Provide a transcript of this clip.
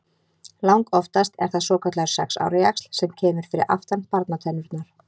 Langoftast er það svokallaður sex ára jaxl sem kemur fyrir aftan barnatennurnar.